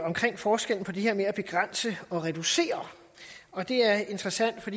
forskellen på det her med at begrænse og reducere og det er interessant for